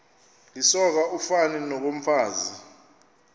lisoka ufani nokomfazi